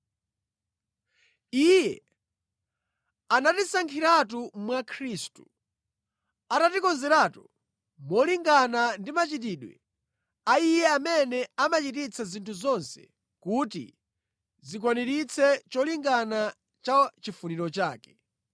Iye anatisankhiratu mwa Khristu, atatikonzeratu molingana ndi machitidwe a Iye amene amachititsa zinthu zonse kuti zikwaniritse cholinga cha chifuniro chake,